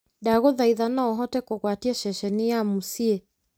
ndagũthaitha no ũhote kũgwatia ceceni ya muusyi